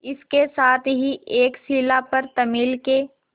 इसके साथ ही एक शिला पर तमिल के